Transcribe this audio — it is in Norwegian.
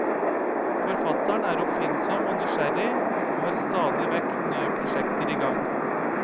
Forfatteren er oppfinnsom og nysgjerrig, og har stadig vekk nye prosjekter i gang.